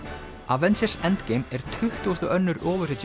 avengers endgame er tuttugasti og annar